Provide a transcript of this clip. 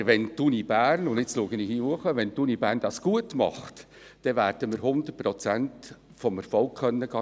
Aber wenn die Universität Bern – und nun schaue ich zur Besuchertribüne hinauf – das gut macht, dann werden wir 100 Prozent des Erfolgs garnieren.